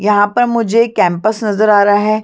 यहाँ पर मुझे एक कैंपस नज़र आ रहा है।